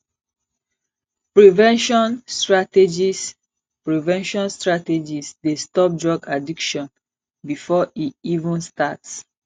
prevention strategies prevention strategies dey stop drug addiction before e even start